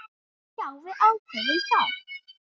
Já, við ákváðum það.